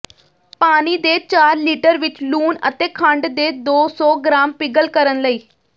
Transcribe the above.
ਪਾਣੀ ਦੇ ਚਾਰ ਲੀਟਰ ਵਿੱਚ ਲੂਣ ਅਤੇ ਖੰਡ ਦੇ ਦੋ ਸੌ ਗ੍ਰਾਮ ਪਿਘਲ ਕਰਨ ਲਈ